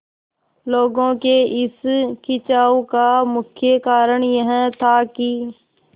लोगों के इस खिंचाव का मुख्य कारण यह था कि